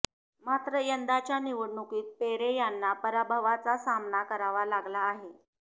मात्र यंदाच्या निवडणुकीत पेरे यांना पराभवाचा सामाना करावा लागला आहे